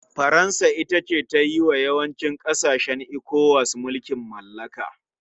Faransa ita ta yi wa yawancin ƙasashen ECOWAS mulkin mallaka.